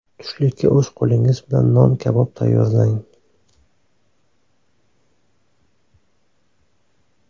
Tushlikka o‘z qo‘lingiz bilan non kabob tayyorlang.